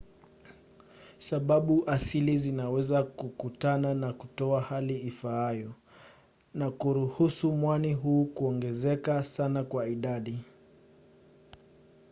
sababu asilia zinaweza kukutana na kutoa hali ifaayo na kuruhusu mwani huu kuongezeka sana kwa idadi